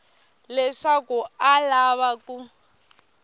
leswaku a a lava ku